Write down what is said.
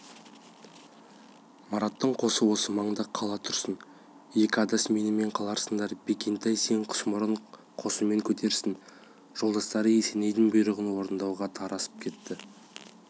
мараттың қосы осы маңда қала тұрсын екі адас менімен қаларсыңдар бекентай сен құсмұрын қосымен кетерсің жолдастары есенейдің бұйрығын орындауға тарасып кетті